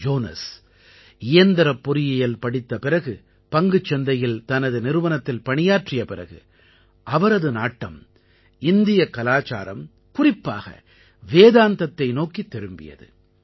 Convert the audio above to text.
Jones இயந்திரப் பொறியியல் படித்த பிறகு பங்குச் சந்தையில் தனது நிறுவனத்தில் பணியாற்றிய பிறகு அவரது நாட்டம் இந்தியக் கலாச்சாரம் குறிப்பாக வேதாந்தத்தை நோக்கித் திரும்பியது